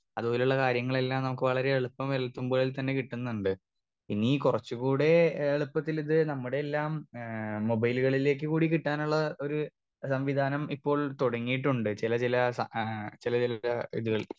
Speaker 2 അതുപോലുള്ള കാര്യങ്ങളെല്ലാം നമുക്ക് വളരെ എളുപ്പം എളുപ്പം പോലെത്തന്നെ കിട്ടുന്നുണ്ട് ഇനി കുറച്ചു കൂടെ ഏ എളുപ്പത്തിലിത് ഞമ്മുടെല്ലാം ഏ മൊബൈല്കളിലേക്ക് കൂടി കിട്ടാനുള്ള ഒര് സംവിധാനം ഇപ്പോൾ തുടങ്ങിയിട്ടുണ്ട് ചിലചില ആ ചില ചില ഇതിൽ.